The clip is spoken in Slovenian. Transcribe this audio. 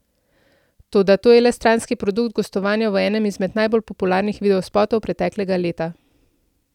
Toda to je le stranski produkt gostovanja v enem izmed najbolj popularnih videospotov preteklega leta.